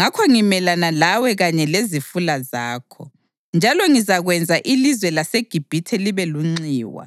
ngakho ngimelana lawe kanye lezifula zakho, njalo ngizakwenza ilizwe laseGibhithe libe lunxiwa